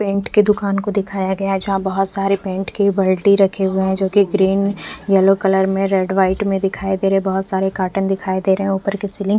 paint के दुकान को दिखाया गया है जहाँ बहुत सारे पेंट के बाल्टी रखे हुए है जो की ग्रीन येलो कलर मे रेड वाइट मे दिखाई दे रहे है बहुत सारे कार्टन दिखाई दे रहे है ऊपर की सेलिंग --